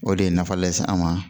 O de ye nafa lase an ma